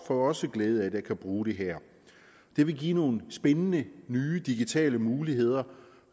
får også glæde af at kunne bruge det her det vil give nogle spændende nye digitale muligheder